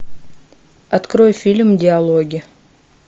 открой фильм диалоги